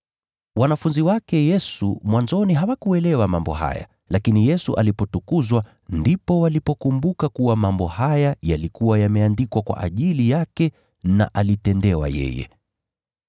Wanafunzi wake Yesu mwanzoni hawakuelewa mambo haya, lakini Yesu alipotukuzwa, ndipo walipokumbuka kuwa mambo haya yalikuwa yameandikwa kwa ajili yake na alitendewa yeye.